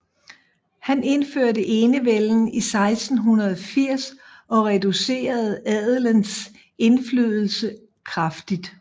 Han indførte enevælden i 1680 og reducerede adelens indflydelse kraftigt